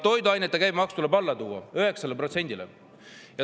Toiduainete käibemaks tuleb alla tuua 9% peale.